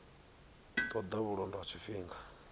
ṱo ḓa vhulondo ha tshifhinga